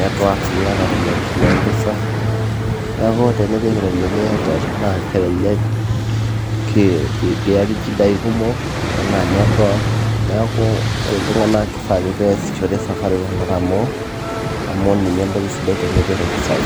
network niata iropiyiani tina empesa niaku tinipik iropiyiani Airtel naa kelelek kiyaki inchidai kumok enaa network neeku ore inltung'anak keifaa ake niasishore Safaricom natamoo amu ninye entoki sodai tenepik impisai.